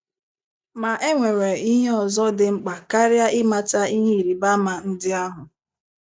Ma e nwere ihe ọzọ dị mkpa karịa ịmata ihe ịrịba ama ndị ahụ.